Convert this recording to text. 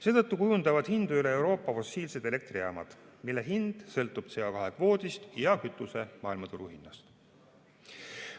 Seetõttu kujundavad hindu üle Euroopa fossiilsed elektrijaamad, mille hind sõltub CO2 kvoodist ja kütuse maailmaturuhinnast.